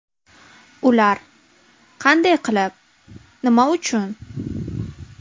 Ular: qanday qilib, nima uchun?